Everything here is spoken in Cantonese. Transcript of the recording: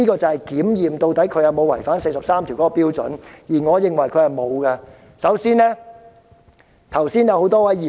這是衡量她有沒有違反第四十三條的標準，而我認為她沒有做到。